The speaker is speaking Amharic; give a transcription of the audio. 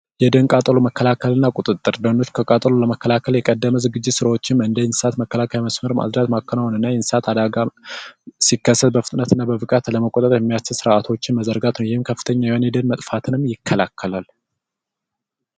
የደን ቃጠሎና መከላከል ቁጥጥር ደንን ከቃጠሎ ለመከላከል ቅድመ ዝግጅት ስራዎችን እንደ እሳት መከላከያ መሳሪያዎችን ማቅረብ ማከናወንና የእሳት አደጋ ሲከሰት በፍጥነት ለመቆጣጠር የሚያስችል ስርዓቶች መዘርጋት ነው። ይህም ከፍተኛ የሆነ የደን መጥፋትን ይከላከላል።